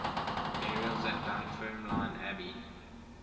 burials at dunfermline abbey